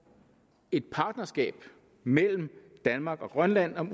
et partnerskab mellem danmark og grønland om